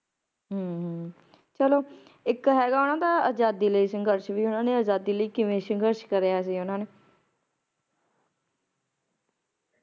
ਹਮ ਹਮ ਚਲੋ ਇੱਕ ਹੈਗਾ ਓਹਨਾ ਦਾ ਆਜ਼ਾਦੀ ਲਈ ਸੰਘਰਸ਼ ਵੀ ਓਹਨਾ ਨੇ ਆਜ਼ਾਦੀ ਲਈ ਕਿਵੇਂ ਸੰਘਰਸ਼ ਕਰਿਆ ਸੀਗਾ ਓਹਨਾ ਨੇ